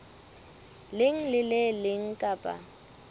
leng le le leng kapa